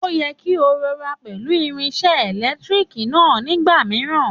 Òye kí o rọra pẹ̀lú irinsé èlétírìkì náà ní ìgbà mìíràn